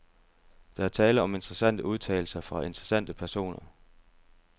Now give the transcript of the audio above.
Der er tale om interessante udtalelser fra interessante personer.